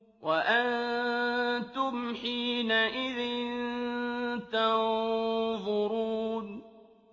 وَأَنتُمْ حِينَئِذٍ تَنظُرُونَ